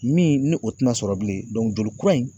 Min ni o te na sɔrɔ bilen joli kura in